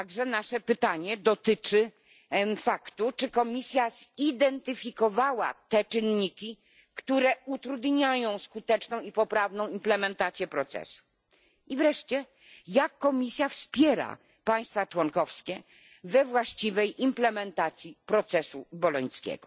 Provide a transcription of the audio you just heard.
Nasze pytanie dotyczy także tego, czy Komisja zidentyfikowała te czynniki, które utrudniają skuteczną i poprawną implementację procesu? I wreszcie jak Komisja wspiera państwa członkowskie we właściwej implementacji procesu bolońskiego?